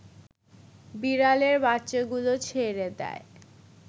বিড়ালের বাচ্চাগুলো ছেড়ে দেয়